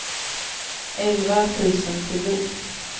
elva tusen tio